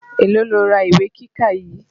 Èló lo ra ìwé kíkà yìí.